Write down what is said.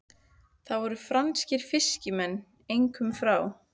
Það voru franskir fiskimenn, einkum frá